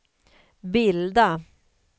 bilda